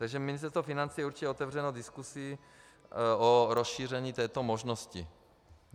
Takže Ministerstvo financí je určitě otevřeno diskusi o rozšíření této možnosti.